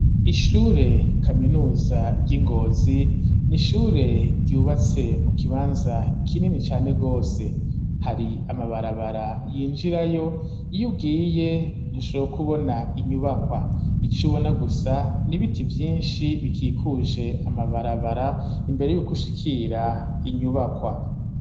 Ishure kaminuza ry'Ingozi, n'ishure ryubatse mu kibanza kinini cane gose, hari amabarabara yinjirayo yugiye ntushobora kubona inyubakwa, icubona gusa n'ibiti vyinshi bikikuje amabarabara imbere yukushikira inyubakwa.